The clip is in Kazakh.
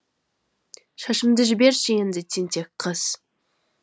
шашымды жіберші енді тентек қыз